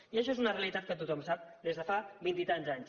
i això és una realitat que tothom sap des de fa vint i tants anys